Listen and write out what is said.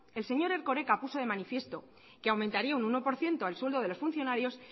el señor erkoreka puso de manifiesto que aumentaría un uno por ciento al sueldo de los funcionarios